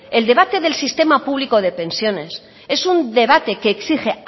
el debate del sistema público de pensiones es un debate que exige